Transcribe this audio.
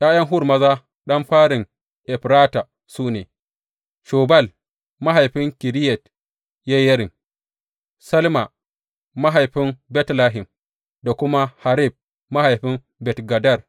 ’Ya’yan Hur maza, ɗan farin Efrata su ne, Shobal mahaifin Kiriyat Yeyarim, Salma mahaifin Betlehem, da kuma Haref mahaifin Bet Gader.